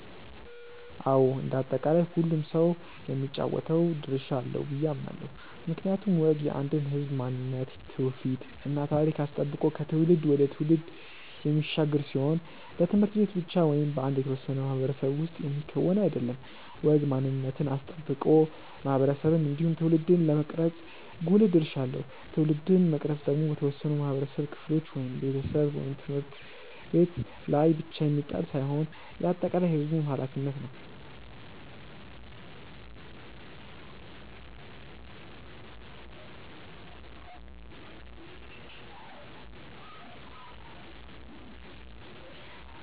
አዎ እንደ አጠቃላይ ሁሉም ሰው የሚጫወተው ድርሻ አለው ብዬ አምናለው። ምክንያቱም ወግ የአንድን ህዝብ ማንነት ትውፊት እና ታሪክ አስጠብቆ ከትውልድ ወደ ትውልድ የሚሻገር ሲሆን በት/ቤት ብቻ ወይም በአንድ የተወሰነ ማህበረሰብ ውስጥ የሚከወን አይደለም። ወግ ማንነትን አስጠብቆ ማህበረሰብን እንዲሁም ትውልድን የመቅረጽ ጉልህ ድርሻ አለው። ትውልድን መቅረጽ ደግሞ በተወሰኑ የማህበረሰብ ክፍሎች (ቤተሰብ፣ ት/ቤት) ላይ ብቻ የሚጣል ሳይሆን የአጠቃላይ የህዝቡም ኃላፊነት ነው።